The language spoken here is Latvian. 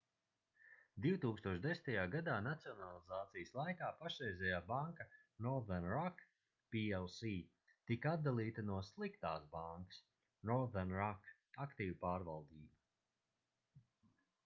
2010. gadā nacionalizācijas laikā pašreizējā banka northern rock plc tika atdalīta no sliktās bankas” northern rock aktīvu pārvaldība